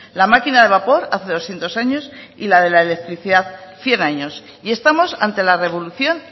la máquina de vapor hace doscientos años y la de la electricidad cien años y estamos ante la revolución